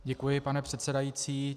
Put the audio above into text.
Děkuji, pane předsedající.